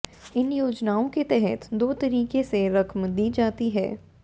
इन योजनाओं के तहत दो तरीके से रकम दी जाती है